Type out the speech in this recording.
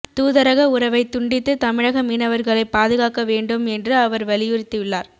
தூதரக உறவைத் துண்டித்து தமிழக மீனவர்களைப் பாதுகாக்க வேண்டும் என்று அவர் வலியுறுத்தியுள்ளார்